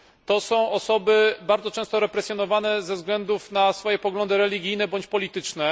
To są osoby bardzo często represjonowane ze względu na swoje poglądy religijne, bądź polityczne.